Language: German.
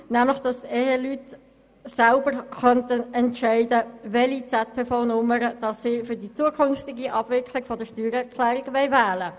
Sie möchte, dass Eheleute selber entscheiden können, welche ZPV-Nummer sie für die zukünftige Abwicklung der Steuererklärung wählen wollen.